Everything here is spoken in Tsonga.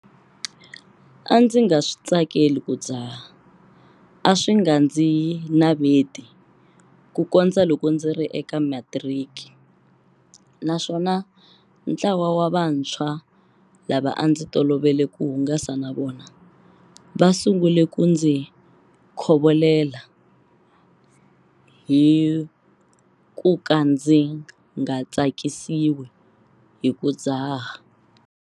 A ndzi nga swi tsakeli ku dzaha a swi nga ndzi naveti kukondza loko ndzi ri eka matiriki naswona ntlawa wa vantshwa lava a ndzi tolovele ku hungasa na vona va su ngule ku ndzi khovolela hi ku ka ndzi nga tsakisiwi hi ku dzaha.